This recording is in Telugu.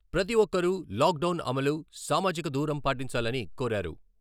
ప్రతి ఒక్కరూ లాక్డౌన్ అమలు, సామాజిక దూరం పాటించాలని కోరారు.